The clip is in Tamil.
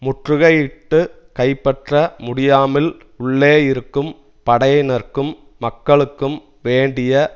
முற்றுகையிட்டுக் கைப்பற்ற முடியாமல் உள்ளேயிருக்கும் படையினர்க்கும் மக்களுக்கும் வேண்டிய